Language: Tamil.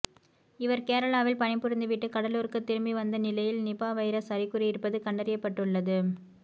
இவர் கேரளாவில் பணிபுரிந்துவிட்டு கடலூர்க்கு திரும்பி வந்த நிலையில் நிபா வைரஸ் அறிகுறி இருப்பது கண்டறியப்பட்டுள்ளது